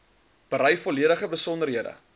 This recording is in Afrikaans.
berei volledige besonderhede